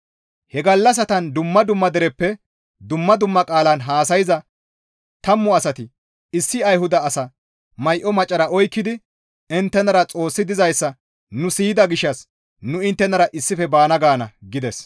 «He gallassatan dumma dumma dereppe dumma dumma qaalan haasayza tammu asati issi Ayhuda asa may7o macara oykkidi, ‹Inttenara Xoossi dizayssa nu siyida gishshas nu inttenara issife baana› gaana» gides.